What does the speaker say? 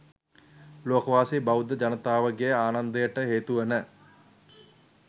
ලෝකවාසී බෞද්ධ ජනතාවගේ ආනන්දයට හේතුවන